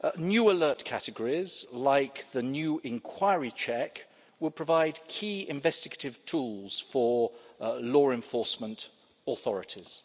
New alert categories, like the new inquiry check, will provide key investigative tools for law enforcement authorities.